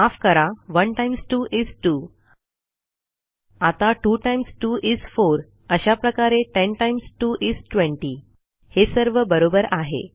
माफ करा1 times 2 is 2 आता 2 टाईम्स 2 इस 4 अशा प्रकारे 10 टाईम्स 2 इस 20 हे सर्व बरोबर आहे